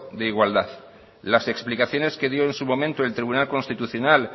de igualdad las explicaciones que dio en su momento el tribunal constitucional